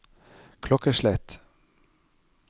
klokkeslett